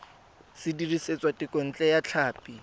se dirisitswe thekontle ya tlhapi